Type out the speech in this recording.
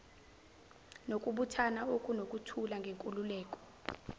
nokubuthana okunokuthula ngenkululeko